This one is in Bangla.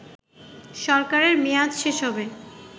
সরকারের মেয়াদ শেষ হবে